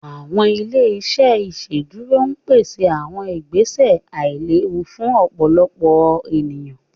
Awọn ile-iṣẹ iṣẹdúró péṣè awọn ìgbèsẹ̀ àìlẹ̀wù fún ọ̀pọ̀lọ̀pọ̀ ènìyàn